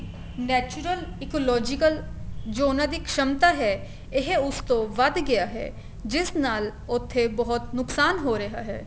natural ecological ਜੋ ਉਹਨਾ ਦੀ ਇੱਕ ਸ਼ਮਤਾ ਹੈ ਇਹ ਉਸ ਤੋਂ ਵੱਧ ਗਿਆ ਹੈ ਜਿਸ ਨਾਲ ਉੱਥੇ ਬਹੁਤ ਨੁਕਸਾਨ ਹੋ ਰਿਹਾ ਹੈ